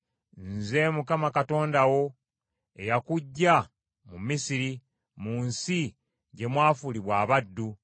“Nze Mukama Katonda wo, eyakuggya mu Misiri, mu nsi gye mwafuulibwa abaddu.